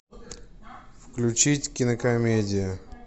включить кинокомедию